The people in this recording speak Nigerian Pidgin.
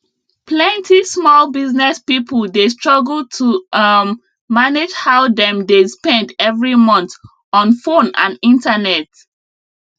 plenty small business people dey struggle to um manage how dem dey spend every month on fone and internet